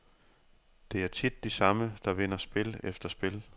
Det er tit de samme, der vinder spil efter spil.